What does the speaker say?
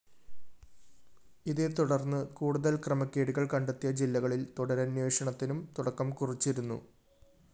ഇതേത്തുടര്‍ന്ന് കൂടുതല്‍ ക്രമക്കേടുകള്‍ കണ്ടെത്തിയ ജില്ലകളില്‍ തുടരന്വേഷണത്തിനും തുടക്കം കുറിച്ചിരുന്നു